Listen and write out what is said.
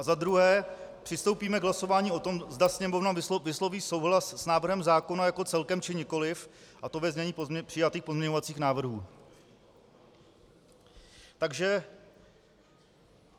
A za druhé, přistoupíme k hlasování o tom, zda Sněmovna vysloví souhlas s návrhem zákona jako celkem, či nikoliv, a to ve znění přijatých pozměňovacích návrhů.